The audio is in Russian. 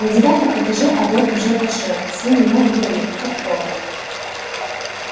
на девятом этаже огонь уже прошёл синий мох горит как порох